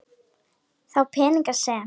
Þá peninga sem